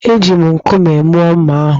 Eji m nkume mụọ mma ahụ